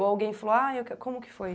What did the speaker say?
Ou alguém falou, aí, eu q, como que foi?